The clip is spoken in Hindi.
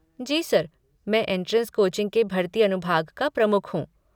जी सर, मैं एंट्रेंस कोचिंग के भर्ती अनुभाग का प्रमुख हूँ।